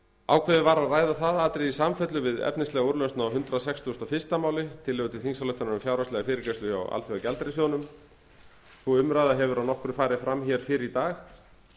ákveðið var að ræða þau atriði í samfellu við efnislega úrlausn á hundrað sextugasta og fyrsta máli tillögu til þingsályktunar um fjárhagslega fyrirgreiðslu hjá alþjóðagjaldeyrissjóðnum sú umræða hefur að nokkru farið fram hér fyrr í dag